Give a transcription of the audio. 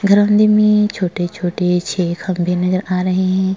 घराने में छोटे छोटे छेह खंबे नजर आ रहे हैं।